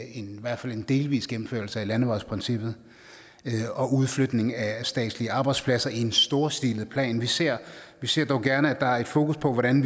i hvert fald en delvis gennemførelse af landevejsprincippet og udflytning af statslige arbejdspladser i en storstilet plan vi ser vi ser dog gerne at der er fokus på hvordan